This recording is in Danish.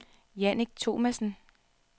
Jannik Thomassen